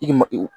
I ma ye o